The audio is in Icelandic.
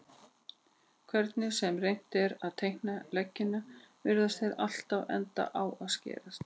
Hvernig sem reynt er að teikna leggina virðast þeir alltaf enda á að skerast.